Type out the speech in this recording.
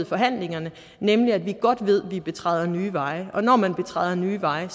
forhandlingerne nemlig at vi godt ved vi betræder nye veje og når man betræder nye veje